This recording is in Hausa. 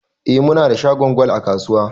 Eh, munada shagon gwal a kasuwa